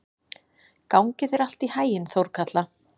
Gangi þér allt í haginn, Þórkatla.